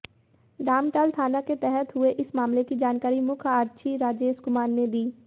डामटाल थाना के तहत हुए इस मामले की जानकारी मुख्य आरक्षी राजेश कुमार ने दी